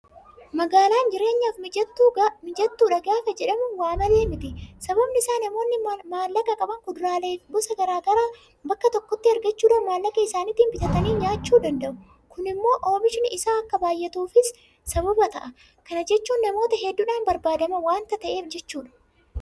Magaalaan jireenyaaf mijattuudha gaafa jedhamu waamalee miti. Sababni isaas namoonni maallaqa qaban kuduraalee gosa garaa garaa bakka tokkotti argachuudhaan maallaqa isaaniitiin bitatanii nyaachuu danda'u. Kun immoo oomishni isaa akka baay'atuufis sababa ta'a. Kana jechuun namoota hedduudhaan barbaadama waanta ta'eef jechuudha.